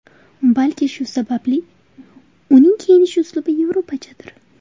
Balki shu sababli uning kiyinish uslubi yevropachadir.